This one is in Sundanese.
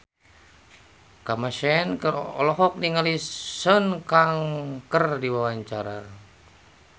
Kamasean olohok ningali Sun Kang keur diwawancara